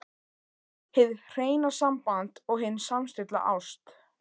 HIÐ HREINA SAMBAND OG HIN SAMSTILLTA ÁST